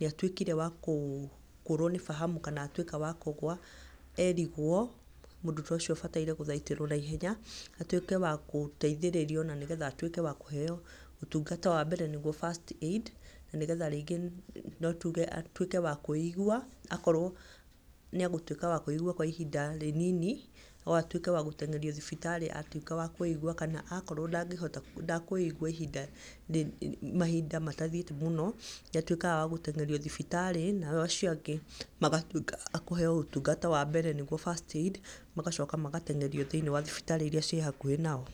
nĩ atuĩkire wakũrũo nĩ fahamu kana atuĩka wa kũgũa erigũo. Mũndũ ta ũcio abataire gũthaitĩrwo naihenya, atuĩke wa gũteithĩrĩrio na nĩgetha atuĩke wa kũheo ũtungata wa mbere niguo first aid, na nĩgetha rĩngĩ atuĩke wa kwĩigua. Akorwo nĩ egũtuĩka wa kwĩigua kwa ihinda rĩnini no atuĩke wa gũtengerio thibitarĩ, atuĩka wa kwĩigua kana akorwo ndakwĩigua mahinda matathiĩte mũno. Nĩ atuĩkaga wa gũteng'erio thibitarĩ nao acio angĩ magatuĩka a kũheo ũtungata wa mbere nĩguo first aid magacoka magateng'erio thĩinĩ wa thibitarĩ iria ciĩ hakuhĩ nao.